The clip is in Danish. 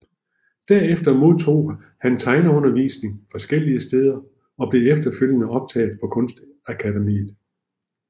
Derefter modtog han tegneundervisning forskellige steder og blev efterfølgende optaget på Kunstakademiet